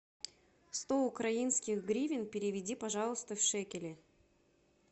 сто украинских гривен переведи пожалуйста в шекели